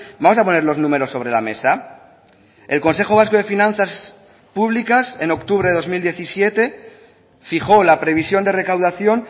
vamos a poner los números sobre la mesa el consejo vasco de finanzas publicas en octubre de dos mil diecisiete fijó la previsión de recaudación